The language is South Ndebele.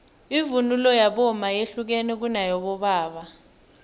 ivunulo yabomma yehlukene kuneyabobaba